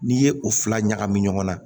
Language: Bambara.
N'i ye o fila ɲagami ɲɔgɔn na